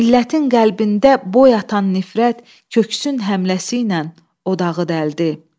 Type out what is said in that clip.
Millətin qəlbində boy atan nifrət köksün həmləsi ilə odağı dəldi.